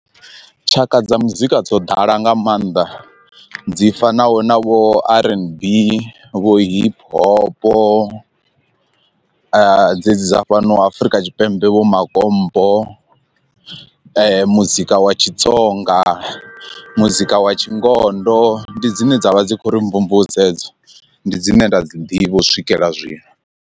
Tshaka dza muzika dzo ḓala nga maanḓa dzi fanaho na vho rnb vho hip hopo, dzedzi dza fhano Afurika Tshipembe vho makompo muzika wa tshitsonga, muzika wa tshingondo, ndi dzine dzavha dzi kho ri mvumvusa edzo ndi dzine nda dzi ḓivha u swikelela zwino.